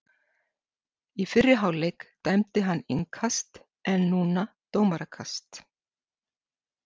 Í fyrri hálfleik dæmdi hann innkast en núna dómarakast.